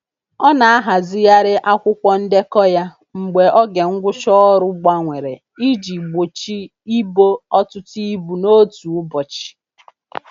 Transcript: Ọ na-ahazigharị akwụkwọ ndekọ ya mgbe oge ngwụcha ọrụ gbanwere iji gbochi ịbo ọtụtụ ibu n'otu ụbọchị.